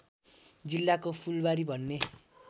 जिल्लाको फूलवारी भन्ने